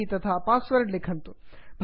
भवतां E mail ID तथा password लिखन्तु